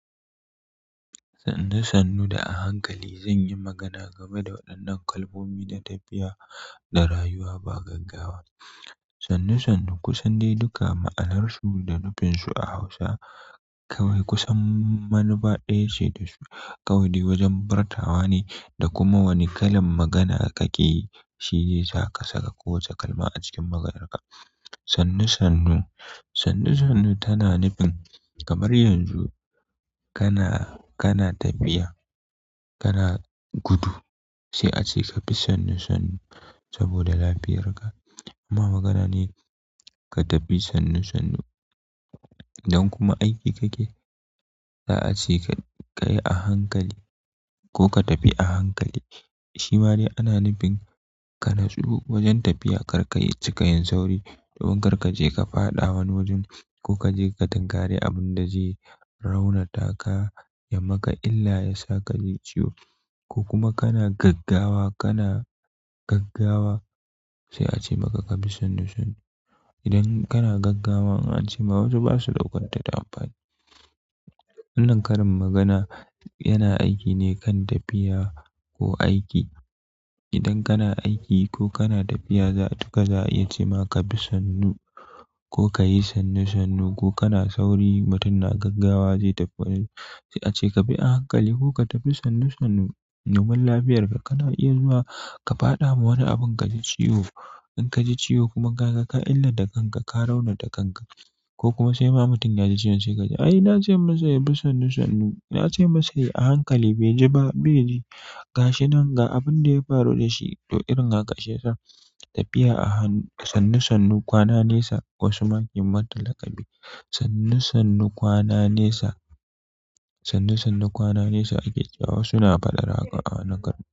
Sannu sannu da a hankali. Zan yi magana game da waɗannan kalmomi da tafiya da rayuwa ba gaggawa. Sannu sannu, ku sandai duka a ma'anarsu da nufinsu a Hausa. Kawai kusan manufa ɗaya ce da su. Kawai dai wajen furtawa ne da kuma wane kalan magana kake yi, shi ne zai sa ka saka kowace kalma a cikin maganarka. Sannu sannu. Sannu sannu tana nufin kamar yanzu kana tafiya kana gudu sai ace kabi sannu sannu sabida lafiyar ka amma magana ne ka tafi sannu sannu idan kuma aiki kake, za a ce ka kayi a hankali ko ka tafi a hankali. Shima dai ana nufin ka nutsu wajen tafiya kar ka cika yin sauri domin kar kaje ka faɗa wani wajen ko kaje ka tunkari abunda zai raunata ka ya maka illa, ya sa ka ji ciwo. Ko kuma kana gaggawa, kana gaggawa, sai a ce maka ka bi sannu sannu. Idan kana gaggawa, an ce ma wasu ba su ɗaukar ta da amfani. Wannan karin magana yana aiki ne kan tafiya ko aiki. Idan kana aiki ko kana tafiya za'a iya cema kabi sannu ko kayi sannu sannu ko kana sauri mutum na gaggawa zai tafi, sai kabi a hankali ko kabi sannu sannu domin lafiyar ka kana iya zuwa ka faɗa ma wani abin ka ji ciwo. In ka ji ciwo kuma ka ga ka illa ta kanka, ka rauna ta kanka ko kuma sai ma mutum ya ji ciwon sai ka ji, "Ai na ce masa ya bi sannu sannu. Na ce masa ya yi a hankali bai ji ba, bai ji." Ga shi nan ga abin da ya faru da shi. To irin haka shiyasa tafiya a hannu-- sannu sannu kwana nesa wasu ma ke mata laƙabi. Sannu sannu kwana nesa. Sannu sannu kwana nesa ake cewa wasu na faɗar haka a wani garin.